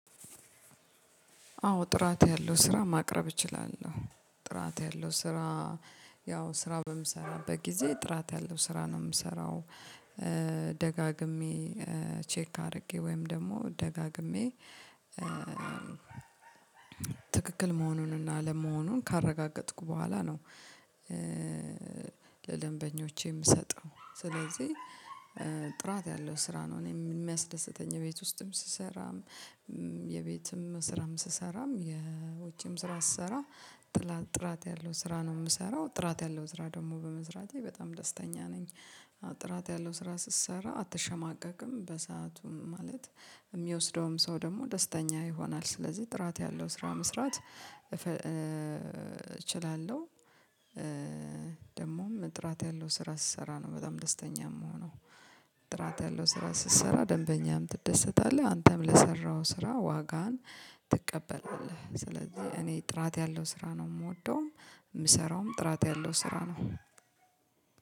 አዎ ጥራት ያለው ስራ ማቅረብ እችላለሁ ጥራት ያለው ስራ ያው ስራ በምሰራው በጊዜ ጥራት ያለው ስራ ነው የምሰራው። ደጋግሜ ቼክ አድርጌ ወይም ደግሞ ደጋግሜ ትክክል መሆኑንና አለመሆኑን ካረጋገጥኩ በኋላ ነው። ለደንበኞቼ የምሰጠው ስለዚህ። ጥራት ያለው ስራ ነው እኔ የሚያስደስተኝ የቤት ውስጥም ስሰራም የቤትም ስራም ስሰራም የውጭም ስራ ስሰራ ጥራት ያለው ስራ ነው የምሰራው ጥራት ያለው ስራ ደግሞ በመስራቴ በጣም ደስተኛ ነኝ። ጥራት ያለው ስራ ስትሰራ አትሸማቀቅም በሰአቱም ማለት የሚወስደውም ሰው ደግሞ ደስተኛ ይሆናል። ስለዚህ ጥራት ያለው ስራ መስራት እችላለሁ። ደግሞም ጥራት ያለው ስራ ስሰራ ነው በጣም ደስተኛ እምሆነው። ጥራት ያለው ስራ ስትሰራ ደንበኛም ትደሰታለህ አንተም ለሰራው ስራ ዋጋህን ትቀበላለህ። ስለዚህ እኔ ጥራት ያለው ስራ ነው የምወደውም የምሰራውም ጥራት ያለው ስራ ነው።